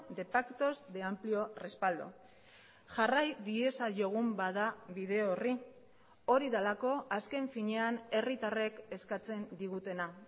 de pactos de amplio respaldo jarrai diezaiogun bada bide horri hori delako azken finean herritarrek eskatzen digutena